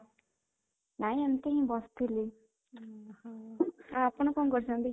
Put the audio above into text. ନାଇଁ, ଏମିତି ହି ବସିଥିଲି ଓହଃ ଆପଣ କଣ କରୁଛନ୍ତି?